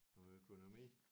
Og økonomi